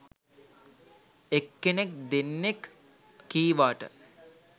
එක් කෙනෙක් දෙන්නෙක් කීවාට